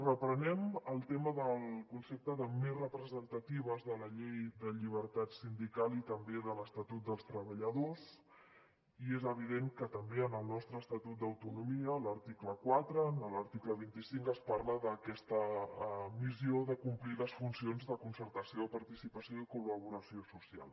reprenem el tema del concepte de més representatives de la llei de llibertat sindical i també de l’estatut dels treballadors i és evident que també en el nostre estatut d’autonomia en l’article cuatro en l’article veinte cinco es parla d’aquesta missió de complir les funcions de concertació de participació i de collaboració social